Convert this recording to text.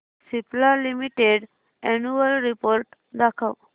Cipla limited annual report दाखव